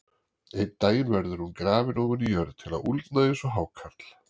Einn daginn verður hún grafin ofan í jörð til að úldna eins og hákarl.